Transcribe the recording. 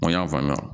N ko n y'a faamuya